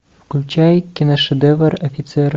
включай киношедевр офицеры